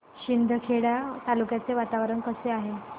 शिंदखेडा तालुक्याचे वातावरण कसे आहे